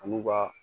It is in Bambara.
An'u b'a